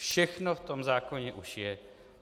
Všechno v tom zákoně už je.